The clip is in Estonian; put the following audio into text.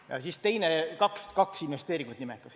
Ja siis ütles teise veel, kaks investeeringut nimetas.